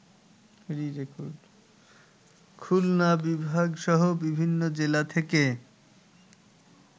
খুলনা বিভাগসহ বিভিন্ন জেলা থেকে